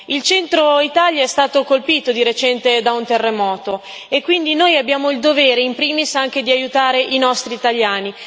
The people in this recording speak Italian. Il centro Italia è stato colpito di recente da un terremoto e quindi noi abbiamo il dovere in primis di aiutare i nostri italiani.